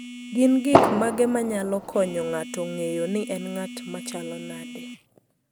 Gin gik mage ma nyalo konyo ng'ato ng'eyo ni en ng'at ma chalo nade?